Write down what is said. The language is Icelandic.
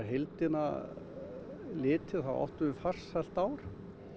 heildina litið áttum við farsælt ár